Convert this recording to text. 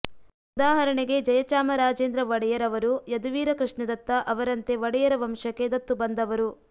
ಉದಾಹರಣೆಗೆ ಜಯಚಾಮರಾಜೇಂದ್ರ ಒಡೆಯರ್ ಅವರು ಯದುವೀರ ಕೃಷ್ಣದತ್ತ ಅವರಂತೆ ಒಡೆಯರ ವಂಶಕ್ಕೆ ದತ್ತು ಬಂದವರು